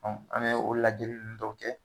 an bɛ o lajɛli nn dɔw kɛ